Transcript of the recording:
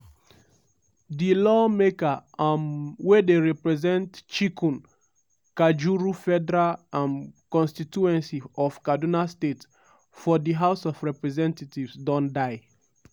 di lawmaker um wey dey represent chikun/kajuru federal um constituency of kaduna state for di house of representatives don die.